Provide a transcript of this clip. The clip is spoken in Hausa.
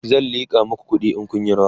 zan liƙa maku kuɗi in Kun Yi rawa